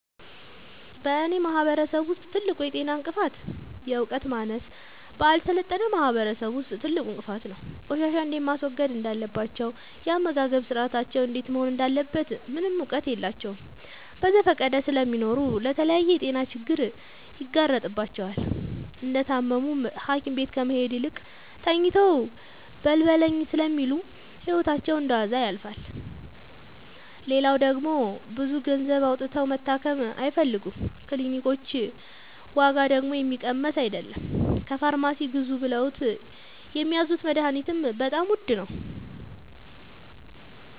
በእኔ ማህበረሰብ ውስጥ ትልቁ የጤና እንቅፍት የዕውቀት ማነስ በአልሰለጠነ ማህበረሰብ ውስጥ ትልቁ እንቅፋት ነው። ቆሻሻ እንዴት ማስወገድ እንዳለባቸው የአመጋገብ ስርአታቸው እንዴት መሆን እንዳለበት ምንም እውቀት የላቸውም በዘፈቀደ ስለሚኖሩ ለተለያየ የጤና ችግር ይጋረጥባቸዋል። እንደታመሙም ሀኪቤት ከመሄድ ይልቅ ተኝተው በልበለኝ ስለሚሉ ህይወታቸው እንደዋዛ ያልፋል። ሌላው ደግሞ ብዙ ገንዘብ አውጥተው መታከም አይፈልጉም ክኒልኮች ዋጋደግሞ የሚቀመስ አይለም። ከፋርማሲ ግዙ ብለውት የሚያዙት መደሀኒትም በጣም ውድ ነው።